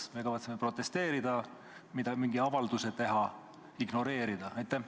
Kas me kavatseme protesteerida, mingi avalduse teha, toimuvat ignoreerida?